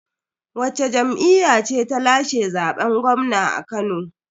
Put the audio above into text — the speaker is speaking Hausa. Wacce jam'iyya ce ta lashe zaben gwamna a Kano?